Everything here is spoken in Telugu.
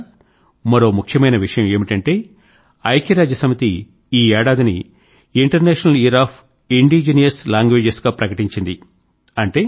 మిత్రులారా మరో ముఖ్యమైన విషయం ఏమిటంటే ఐక్య రాజ్య సమితి ఈ ఏడాదిని international year of indigenous languages గా ప్రకటించింది